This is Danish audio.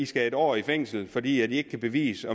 skal en år i fængsel fordi i ikke kan bevise